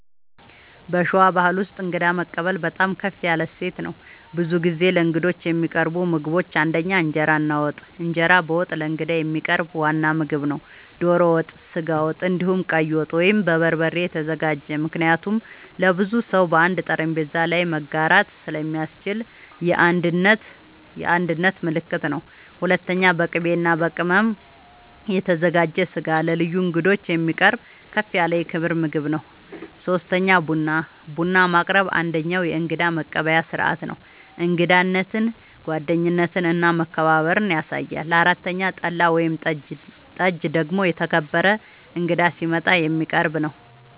በሸዋ ባሕል ውስጥ እንግዳ መቀበል በጣም ከፍ ያለ እሴት ነው። ብዙ ጊዜ ለእንግዶች የሚቀርቡ ምግቦች ፩) እንጀራ እና ወጥ፦ እንጀራ በወጥ ለእንግዳ የሚቀርብ ዋና ምግብ ነው። ዶሮ ወጥ፣ ስጋ ወጥ፣ እንዲሁም ቀይ ወጥ( በበርበሬ የተዘጋጀ) ምክንያቱም ለብዙ ሰው በአንድ ጠረጴዛ ላይ መጋራት ስለሚያስችል የአንድነት ምልክት ነው። ፪.. በቅቤ እና በቅመም የተዘጋጀ ስጋ ለልዩ እንግዶች የሚቀርብ ከፍ ያለ የክብር ምግብ ነው። ፫. ቡና፦ ቡና ማቅረብ አንደኛዉ የእንግዳ መቀበያ ስርዓት ነው። እንግዳነትን፣ ጓደኝነትን እና መከባበርን ያሳያል። ፬ .ጠላ ወይም ጠጅ ደግሞ የተከበረ እንግዳ ሲመጣ የሚቀረብ ነዉ